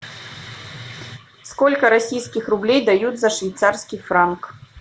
сколько российских рублей дают за швейцарский франк